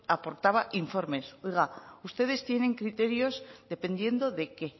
aportaba informes oiga ustedes tienen criterios dependiendo de qué